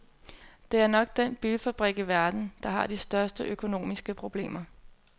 Det er nok den bilfabrik i verden, der har de største økonomiske problemer.